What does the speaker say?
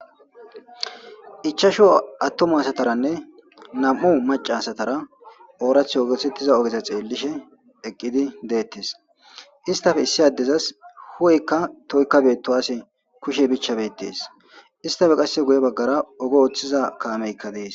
ichashu attuma asataranne nam'u maca asatara oorath osetiza ogeza xeellishe eqqidi deettes istafe issi addezas hu'eykka toykka beettowase kushe bichcha betees istafe qasse guye baggara oge ooththiza kaameykka dees